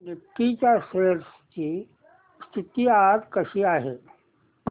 Nifty च्या shares ची स्थिती आज कशी आहे